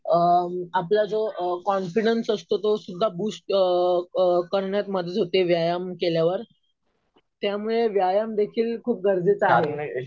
आपला जो कॉन्फिडन्स असतो तो सुध्दा बूस्ट करण्यात मदत होते. व्यायाम केल्यावर. त्यामुळे व्यायाम देखील खूप गरजेचा आहे.